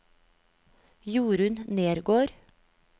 Jorunn Nergård